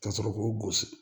Ka sɔrɔ k'o gosi